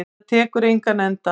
Tekur þetta engan enda?